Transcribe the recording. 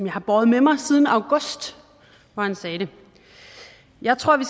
har båret med mig siden august hvor han sagde det jeg tror vi